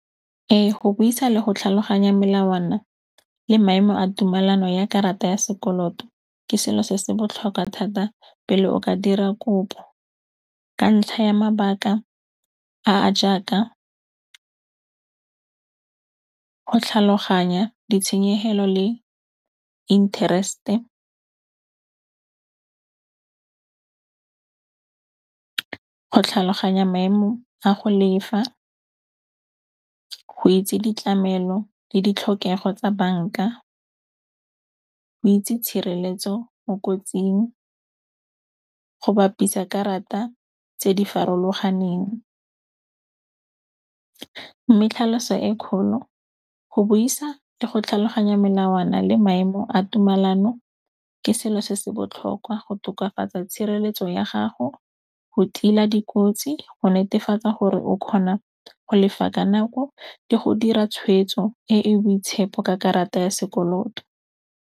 Ee, go buisa le go tlhaloganya melawana le maemo a tumelano ya karata ya sekoloto ke selo se se botlhokwa thata pele o ka dira kopo. Ka ntlha ya mabaka a a jaaka go tlhaloganya ditshenyegelo le interest-e, go tlhaloganya maemo a go lefa, go itse ditlamelo le ditlhokego tsa banka, go itse tshireletso mo kotsing, go bapisa karata tse di farologaneng. Mme tlhaloso e kgolo go buisa le go tlhaloganya melawana le maemo a tumelano ke selo se se botlhokwa go tokafatsa tshireletso ya gago, go tila dikotsi, go netefatsa gore o kgona go lefa ka nako le go dira tshwetso e e boitshepo ka karata ya sekoloto.